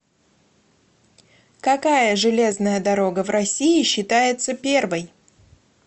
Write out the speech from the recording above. какая железная дорога в россии считается первой